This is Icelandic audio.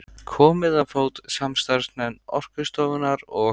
Komið á fót samstarfsnefnd Orkustofnunar og